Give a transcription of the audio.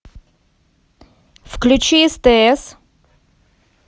включи стс